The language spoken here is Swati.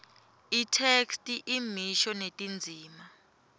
itheksthi imisho netindzima